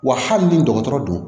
Wa hali ni dɔgɔtɔrɔ don